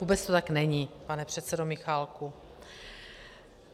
Vůbec to tak není, pane předsedo Michálku.